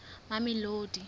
mamelodi